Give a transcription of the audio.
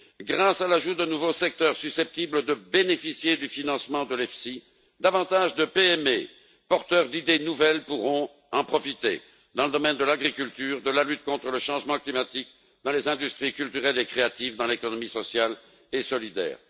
Grâce à l'ajout de nouveaux secteurs susceptibles de bénéficier du financement de l'EFSI, davantage de PME porteuses d'idées nouvelles pourront en profiter dans le domaine de l'agriculture, de la lutte contre le changement climatique, dans les industries culturelles et créatives, dans l'économie sociale et solidaire.